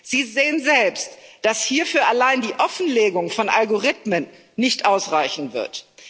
Sie sehen selbst, dass hierfür die Offenlegung von Algorithmen allein nicht ausreichen wird.